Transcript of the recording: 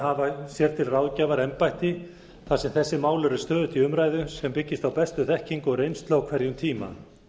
hafa sér til ráðgjafar embætti þar sem þessi mál eru stöðugt í umræðu sem byggist á bestu þekkingu og reynslu á hverjum tíma